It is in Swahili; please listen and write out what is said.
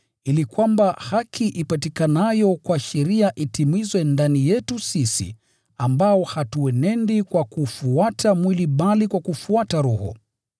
ili kwamba haki ipatikanayo kwa sheria itimizwe ndani yetu sisi, ambao hatuenendi kwa kuufuata mwili bali kwa kufuata Roho.